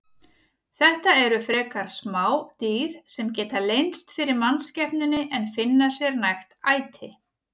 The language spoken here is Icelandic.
Þetta eru frekar smá dýr sem geta leynst fyrir mannskepnunni en finna sér nægt æti.